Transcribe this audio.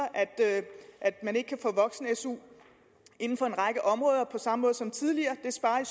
at man ikke kan få voksen su inden for en række områder på samme måde som tidligere sparer